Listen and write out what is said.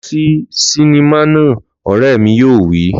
Lọ sí sinimá náà! Ọ̀rẹ́ mi yóò wí.